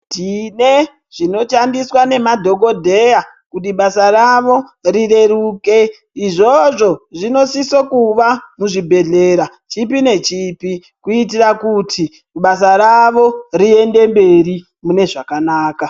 Tine zvinotambiswa nemadhogodheya kuti basa ravo rireruke. Izvozvo zvinosiso kuva muzvibhedhlera chipi nechipi. Kuitira kuti basa ravo riende mberi munezvakanaka.